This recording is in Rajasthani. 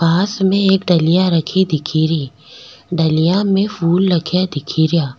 पास में एक डलियाँ रखी दिखेरी डलियाँ में फूल लगया दिखेरा।